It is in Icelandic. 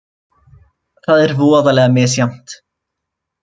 Það er voðalega misjafnt.